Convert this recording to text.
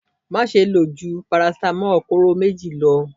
Máṣe lò jú paracetamol kóró méjì lọ.